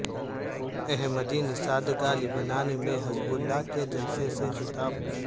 احمدی نژاد کا لبنان میں حزب اللہ کےجلسے سےخطاب